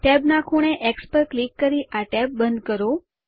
ટૅબના ખૂણે એક્સ પર ક્લિક કરી આ ટેબ બંધ કરો